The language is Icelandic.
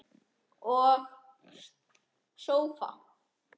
Og sofa.